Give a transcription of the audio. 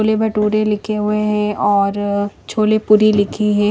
छोले-भटूरे लिखे हुए है और छोले पूरी लिखी है।